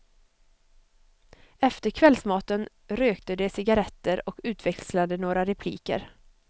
Efter kvällsmaten rökte de cigarretter och utväxlade några repliker.